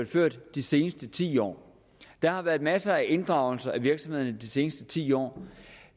ført de seneste ti år der har været masser af inddragelse af virksomheder i de seneste ti år